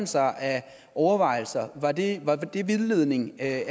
sig af overvejelser var det vildledning af